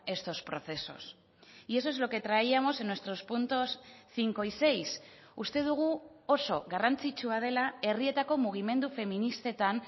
estos procesos y eso es lo que traíamos en nuestros puntos cinco y seis uste dugu oso garrantzitsua dela herrietako mugimendu feministetan